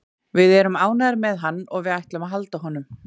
Við erum ánægðir með hann og við ætlum að halda honum.